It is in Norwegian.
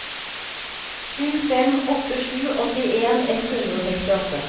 sju fem åtte sju åttien ett hundre og sekstiåtte